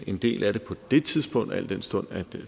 en del af det på det tidspunkt al den stund at